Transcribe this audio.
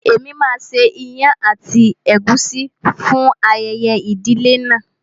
Èmi máa ṣe ìyàn àti ègúsí fún ayẹyẹ ìdílé náà.